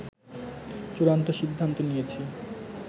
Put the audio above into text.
চূড়ান্ত সিদ্ধান্ত নিয়েছে